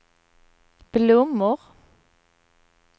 blommor